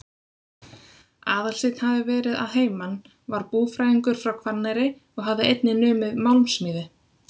Aðalsteinn hafði verið að heiman, var búfræðingur frá Hvanneyri og hafði einnig numið málmsmíði.